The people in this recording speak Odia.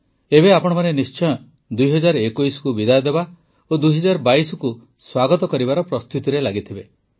ଏବେ ଆପଣମାନେ ନିଶ୍ଚୟ ୨୦୨୧କୁ ବିଦାୟ ଦେବା ଓ ୨୦୨୨କୁ ସ୍ୱାଗତ କରିବାର ପ୍ରସ୍ତୁତିରେ ଲାଗିଥିବେ